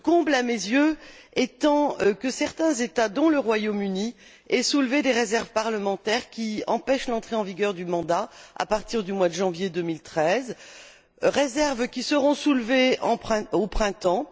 Le comble, à mes yeux, étant que certains États dont le Royaume Uni aient soulevé des réserves parlementaires qui empêchent l'entrée en vigueur du mandat à partir du mois de janvier 2013, réserves qui seront soulevées au printemps.